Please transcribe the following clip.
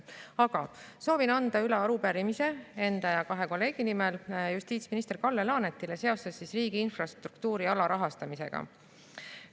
Aga soovin anda enda ja kahe kolleegi nimel justiitsminister Kalle Laanetile üle arupärimise riigi infrastruktuuri alarahastamise kohta.